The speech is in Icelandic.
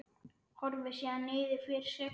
Horfir síðan niður fyrir sig.